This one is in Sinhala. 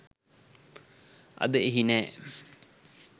අද එහි නෑ.